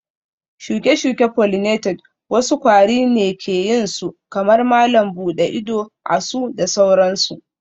shuke-shuke pollinated wasu kwari ne ke yin su kamar malam buɗe ido, asu da sauransu